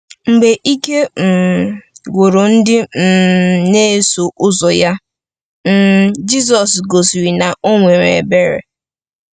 Mgbe ike um gwụrụ ndị um na-eso ụzọ ya, um Jizọs gosiri na o nwere ebere.